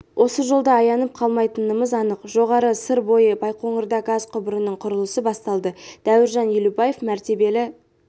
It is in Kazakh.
осы жолда аянып қалмайтынымыз анық жоғары сыр бойы байқоңырда газ құбырының құрылысы басталды дәуіржан елубаев мәртебелі